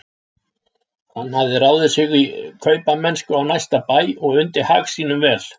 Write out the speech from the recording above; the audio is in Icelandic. Hann hafði ráðið sig í kaupamennsku á næsta bæ og undi hag sínum vel.